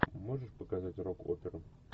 можешь показать рок оперу